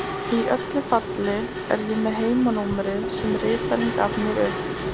Í öllu falli er ég með heimanúmerið sem ritarinn gaf mér upp.